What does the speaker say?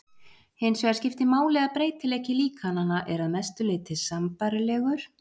Hinsvegar skiptir máli að breytileiki líkananna er að mestu sambærilegur við breytileikann í náttúrunni.